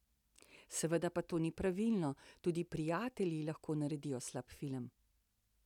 Seveda pa to ni pravilo, tudi prijatelji lahko naredijo slab film.